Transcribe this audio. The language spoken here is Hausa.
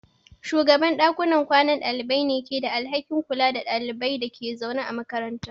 Shugaban dakunan kwanan dalibai ne ke da alhakin kula da ɗaliban da ke zaune a makaranta.